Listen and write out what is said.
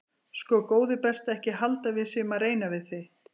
Sko góði besti ekki halda að við séum að reyna við þig.